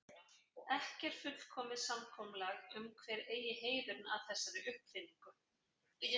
Ekki er fullkomið samkomulag um hver eigi heiðurinn að þessari uppfinningu.